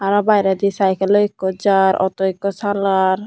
aroo birendi cycle loi ekko jaar auto ekko salar.